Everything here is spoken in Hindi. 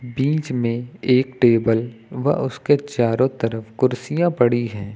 बीच में एक टेबल व उसके चारों तरफ कुर्सियां पड़ी है।